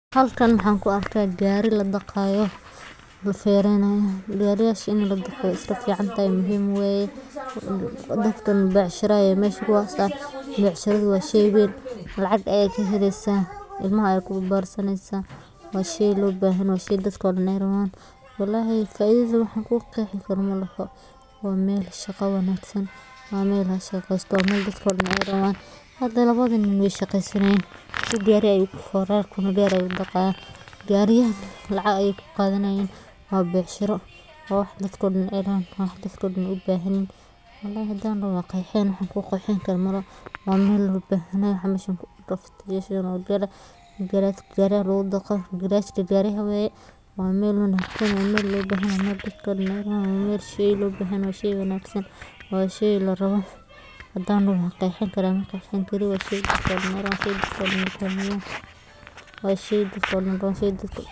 Car wash waa adeeg aad muhiim u ah oo lagu nadiifiyo baabuurta si loo hubiyo in muuqaalka baabuurku ahaado mid qurux badan isla markaana nadaafaddu ay sare u kacdo, iyadoo adeegyada laga helo ay ka mid yihiin dhaqidda dibedda, nadiifinta gudaha, shiilidda muraayadaha, buufinta walxaha ka hortaga wasakhda, iyo saliidda loogu mariyo taayirrada si ay u dhalaalaan; adeeggan wuxuu si gaar ah faa’iido ugu leeyahay milkiilayaasha baabuurta kuwaasoo doonaya in baabuurkooda uu ahaado mid hagaagsan oo nadiif ah, gaar ahaan marka loo eego xaaladaha cimilada ee keena wasakhda sida roobka, boodhka iyo dhoobada, waana sababta ay xarumaha.